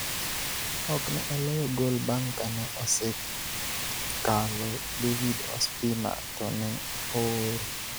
ok ne oloyo gol bang' kane osejkalo David Ospina to ne ooro